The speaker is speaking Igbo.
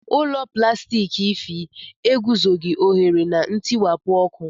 Ụlọ plastiki Ify eguzoghị ohere na ntiwapụ ọkụ